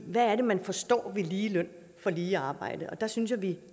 hvad er det man forstår ved lige løn for lige arbejde der synes jeg vi